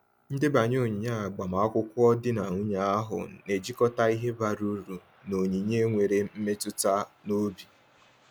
Ndebanye onyinye agbamakwụkwọ di na nwunye ahụ na-ejikọta ihe bara uru na onyinye nwere mmetụta n’obi.